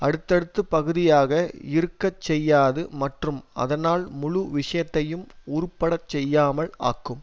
அடுத்தடுத்த பகுதியாக இருக்க செய்யாது மற்றும் அதனால் முழு விஷயத்தையும் உருப்படச் செய்யாமல் ஆக்கும்